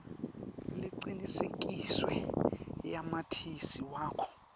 lecinisekisiwe yamatisi wakho